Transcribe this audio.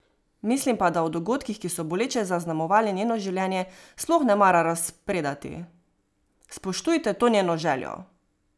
Mislim pa, da o dogodkih, ki so boleče zaznamovali njeno življenje, sploh ne mara razpredati, spoštujte to njeno željo!